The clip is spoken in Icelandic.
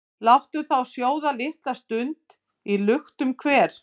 Láttu þá sjóða litla stund í luktum hver,